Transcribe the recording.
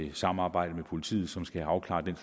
et samarbejde med politiet som skal afklare den